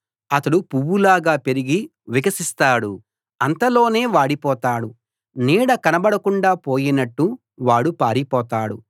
అతడు పువ్వులాగా పెరిగి వికసిస్తాడు అంతలోనే వాడిపోతాడు నీడ కనబడకుండా పోయినట్టు వాడు పారిపోతాడు